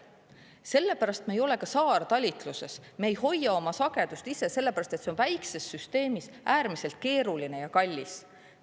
Sellepärast me ei ole ka saartalitluses, me ei hoia oma sagedust lihtsalt sellepärast, et see on väikses süsteemis äärmiselt keeruline ja kallis.